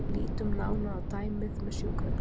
Lítum nánar á dæmið með sjúkrabílinn.